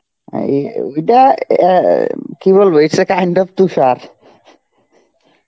অ্যাঁ এ~ এই~ এইটা অ্যাঁ কী বলবো, it's a kind of Tushar.